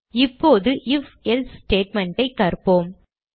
இப்போது ifஎல்சே statement ஐ கற்போம்